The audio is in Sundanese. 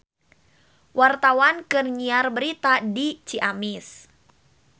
Wartawan keur nyiar berita di Ciamis